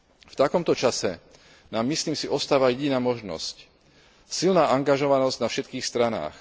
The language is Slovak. V takomto čase nám, myslím si, ostáva jediná možnosť silná angažovanosť na všetkých stranách.